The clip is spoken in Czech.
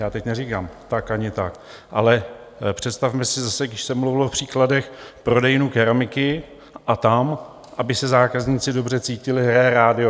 Já teď neříkám tak ani tak, ale představme si zase, když se mluvilo o příkladech - prodejnu keramiky a tam, aby se zákazníci dobře cítili, hraje rádio.